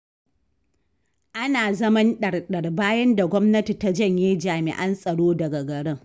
Ana zaman ɗar-ɗar, bayan da gwamnati ta janye jami'an tsaro daga garin.